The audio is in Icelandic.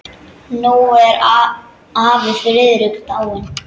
Nú er afi Friðrik dáinn.